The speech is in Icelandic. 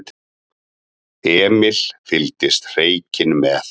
Emil fylgdist hreykinn með.